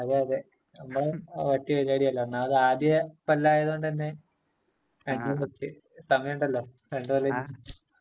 അതെയതെ.നമ്മള് ഒന്നാമത് ആദ്യ കൊല്ലായത് കൊണ്ടന്നെ സമയമുണ്ടല്ലോ രണ്ട് കൊല്ലമിനീം.